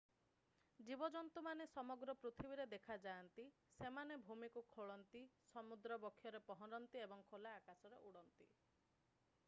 ଜୀବଜନ୍ତୁମାନେ ସମଗ୍ର ପୃଥିବୀରେ ଦେଖାଯାଆନ୍ତି ସେମାନେ ଭୂମିକୁ ଖୋଳନ୍ତି ସମୁଦ୍ର ବକ୍ଷରେ ପହଁରନ୍ତି ଏବଂ ଖୋଲା ଆକାଶରେ ଉଡ଼ନ୍ତି